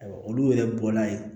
Olu yɛrɛ bɔla yen